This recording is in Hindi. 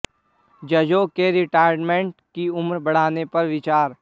जजों के रिटायरमेंट की उम्र बढ़ाने पर विचार